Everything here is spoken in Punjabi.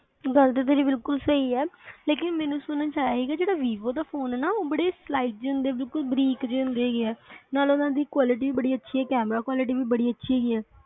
ਗੱਲ ਤਾ ਤੇਰੀ ਬਿਲਕੁਲ ਸਹੀ ਆ ਲੇਕਿਨ ਮੈਨੂੰ ਸੁਣਨ ਚ ਆਇਆ ਕੇ ਜਿਹੜਾ vivo ਦਾ ਫੋਨ ਆ ਉਹ ਬੜੇ sliding ਬਿਲਕੁਲ ਬਰੀਕ ਨਾਲੇ ਉਹਨਾਂ ਦੀ quality ਬੜੀ ਅੱਛੀ camera quality ਬੜੀ ਅੱਛੀ